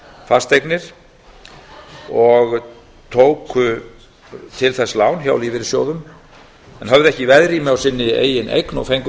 fasteignir og tóku til þess lán hjá lífeyrissjóðum en höfðu ekki veðrými á sinni eigin eign og fengu